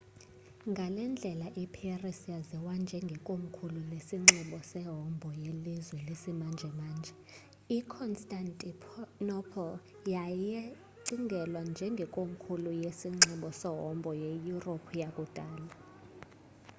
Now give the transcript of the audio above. ngalendlela iparis yaziwa njenge komkhulu lesinxibo sehombo yelizwe lesimanjemanje i-constantinople wayecingelwa njenge komkhulu lesinxibo sehombo ye-yuropu yakudala